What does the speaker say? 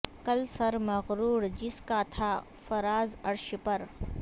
کل سر مغرور جس کا تھا فراز عرش پر